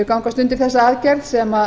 gangast undir þessa aðgerð sem